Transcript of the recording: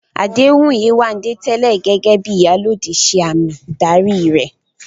Àdéhùn Yewande tẹ́lẹ̀ gẹ́gẹ́ bí "Iyalode" ṣe àmì ìdarí rẹ̀